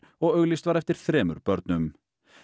og auglýst var eftir þremur börnum